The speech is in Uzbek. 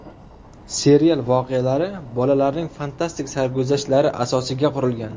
Serial voqealari bolalarning fantastik sarguzashtlari asosiga qurilgan.